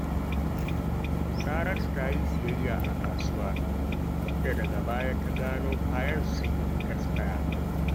Saratu ta yi siyayya a kasuwa, inda daga baya ta gano kayan sun esfaya